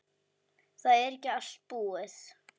Það er ekki allt búið.